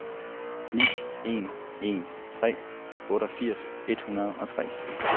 ni en en tre otteogfirs et hundrede og tre